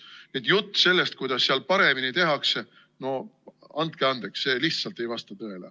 Nii et jutt sellest, kuidas seal paremini tehakse, no andke andeks, see lihtsalt ei vasta tõele.